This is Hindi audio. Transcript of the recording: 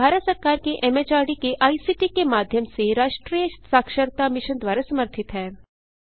यह भारत सरकार के एमएचआरडी के आईसीटी के माध्यम से राष्ट्रीय साक्षरता मिशन द्वारा समर्थित है